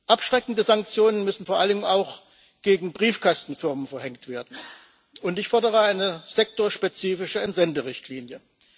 Abschreckende Sanktionen müssen vor allem auch gegen Briefkastenfirmen verhängt werden, und ich fordere eine sektorspezifische Entsenderichtlinie.